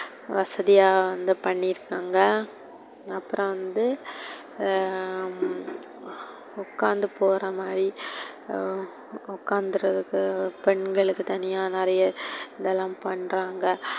வசதியா வந்து பண்ணி இருக்காங்க. அப்புறோ வந்து ஹம் உக்கார்ந்து போறமாரி உக்காந்துருக்க பெண்களுக்கு தனியா நெறைய இதெல்லாம் பண்றாங்க.